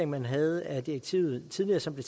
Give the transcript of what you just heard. man havde af direktivet tidligere som blev